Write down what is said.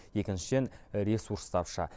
екіншіден ресурс тапшы